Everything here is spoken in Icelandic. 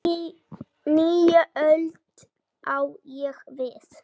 Nýja öld, á ég við.